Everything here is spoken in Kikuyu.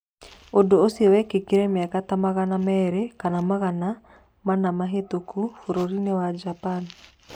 Ũndũ ũcio wekĩkire mĩaka ta magana merĩ kana magana mana mĩhĩtũku bũrũri-inĩ wa Japan.